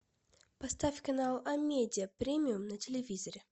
поставь канал амедиа премиум на телевизоре